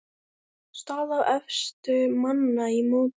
Staða efstu manna í mótinu